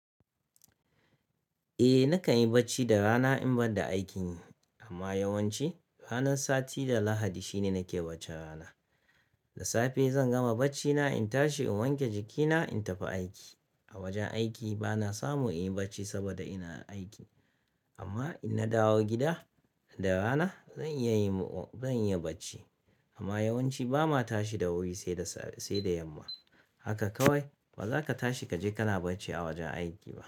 Eh nakan yi bacci da rana in banda aikin yi. Amma yawanci ranar sati da Lahadi shine nake bacci rana. Da safe zan gama bacci na in tashi in wanke jikina in tafi aiki. A wajen aiki bana samu in yi bacci saboda ina aiki. Amma in na dawo gida da rana zan iya bacci. Amma yawanci ba ma tashi da wuri, sai da yamma. Haka kawai, ba za ka tashi ka je ka na bacci a wajen aiki ba.